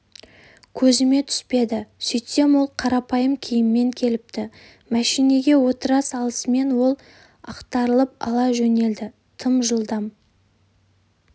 көзіме түспеді сөйтсем ол қарапайым киіммен келіпті мәшинеге отыра салысымен ол ақтарылып ала жөнелді тым жылдам